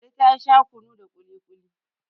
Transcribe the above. Ladi ta Sha kunu da kili-kuli